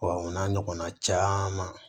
o n'a ɲɔgɔnna caman